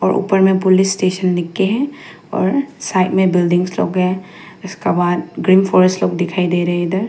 और ऊपर में पुलिस स्टेशन लिख के है और साइड में बिल्डिंग्स लोग हैं इसका बाहर ग्रीन फॉरेस्ट लोग दिखाई दे रहे इधर।